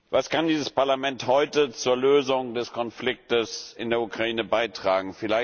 Was kann dieses Parlament heute zur Lösung des Konfliktes in der Ukraine beitragen?